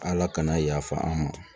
Ala kana yafa an ma